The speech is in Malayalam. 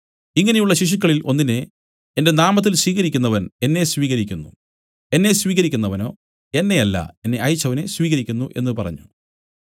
ഇങ്ങനെയുള്ള ശിശുക്കളിൽ ഒന്നിനെ എന്റെ നാമത്തിൽ സ്വീകരിക്കുന്നവൻ എന്നെ സ്വീകരിക്കുന്നു എന്നെ സ്വീകരിക്കുന്നവനോ എന്നെയല്ല എന്നെ അയച്ചവനെ സ്വീകരിക്കുന്നു എന്നു പറഞ്ഞു